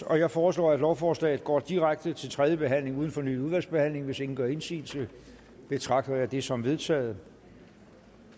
jeg foreslår at lovforslaget går direkte til tredje behandling uden fornyet udvalgsbehandling hvis ingen gør indsigelse betragter jeg det som vedtaget